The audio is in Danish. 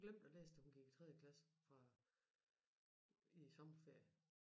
Hun glemte at læse til hun gik i tredje klasse fra i sommerferie